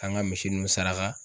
An ka misi ninnu saraka.